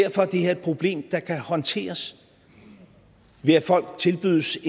her et problem der kan håndteres ved at folk tilbydes